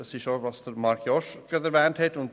Darauf hat vorhin auch Marc Jost hingewiesen.